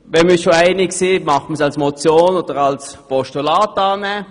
Wenn wir uns schon einig sind, nehmen wir den Vorstoss als Motion oder als Postulat an?